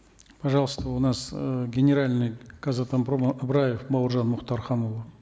пожалуйста у нас эээ генеральный казатомпрома ыбыраев бауыржан мухтарханулы